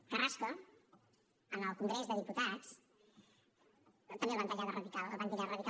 a carrasco en el congrés dels diputats també el van titllar de radical el van titllar de radical